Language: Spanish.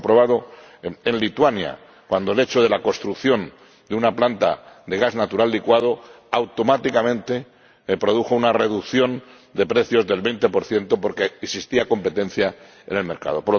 Lo hemos comprobado en Lituania, cuando la construcción de una planta de gas natural licuado automáticamente produjo una reducción de precios del 20 porque existía competencia en el mercado.